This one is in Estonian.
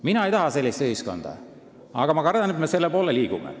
Mina ei taha sellist ühiskonda, aga ma kardan, et me selle poole liigume.